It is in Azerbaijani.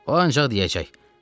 O ancaq deyəcək: